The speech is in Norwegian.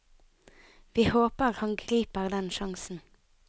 Vi håper han griper den sjansen.